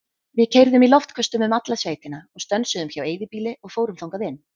Við keyrðum í loftköstum um alla sveitina og stönsuðum hjá eyðibýli og fórum þangað inn.